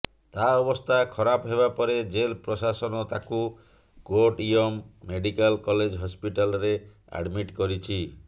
ତା ଅବସ୍ଥା ଖରାପ ହେବାପରେ ଜେଲ୍ ପ୍ରଶାସନ ତାକୁ କୋଟ୍ଟୟମ ମେଡିକାଲ କଲେଜ ହସ୍ପିଟାଲରେ ଆଡମିଟ୍ କରିଛି